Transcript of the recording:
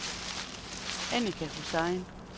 Annika Hussain